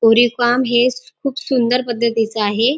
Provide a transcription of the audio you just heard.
कोरीव काम हे खूप सुंदर पद्धतीच आहे.